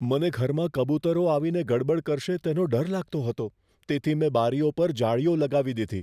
મને ઘરમાં કબૂતરો આવીને ગડબડ કરશે તેનો ડર લાગતો હતો, તેથી મેં બારીઓ પર જાળીઓ લગાવી દીધી.